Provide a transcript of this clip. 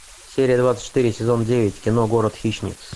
серия двадцать четыре сезон девять кино город хищниц